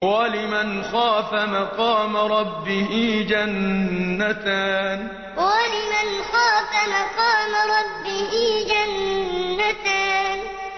وَلِمَنْ خَافَ مَقَامَ رَبِّهِ جَنَّتَانِ وَلِمَنْ خَافَ مَقَامَ رَبِّهِ جَنَّتَانِ